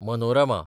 Manorama